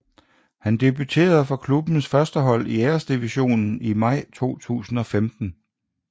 Han debuterede for klubbens førstehold i Æresdivisionen i maj 2015